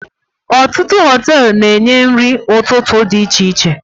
Ọtụtụ Họtelụ na enye nri ụtụtụ dị iche iche